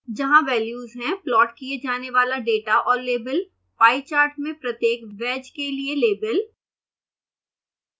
जहाँ वेल्यूज हैं प्लॉट किए जाने वाला डेटा और लेबल पाई चार्ट में प्रत्येक wedge के लिए लेबल